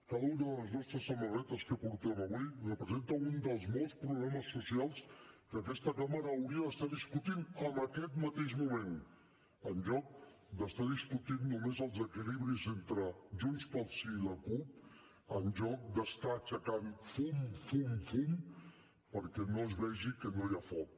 cada una de les nostres samarretes que portem avui representa un dels molts problemes socials que aquesta cambra hauria d’estar discutint en aquest mateix moment en lloc d’estar discutint només els equilibris entre junts pel sí i la cup en lloc d’estar aixecant fum fum fum perquè no es vegi que no hi ha foc